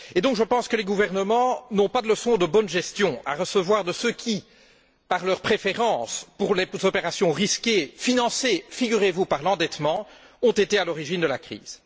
Je pense que les gouvernements n'ont pas de leçon de bonne gestion à recevoir de ceux qui, par leur préférence pour les opérations risquées financées, figurez vous, par l'endettement ont été à l'origine de la crise.